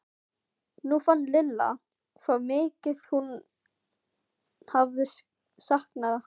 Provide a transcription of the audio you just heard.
Nú fann Lilla hvað mikið hún hafði saknað hans.